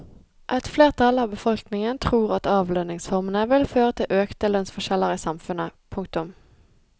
Et flertall av befolkningen tror at avlønningsformene vil føre til økte lønnsforskjeller i samfunnet. punktum